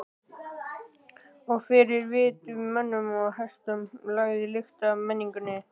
Og fyrir vit mönnum og hestum lagði lyktina af menningunni.